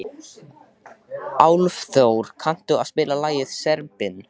Álfþór, kanntu að spila lagið „Serbinn“?